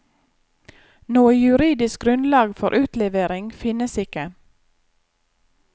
Noe juridisk grunnlag for utlevering finnes ikke.